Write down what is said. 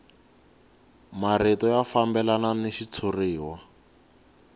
marito ya fambelana ni xitshuriwa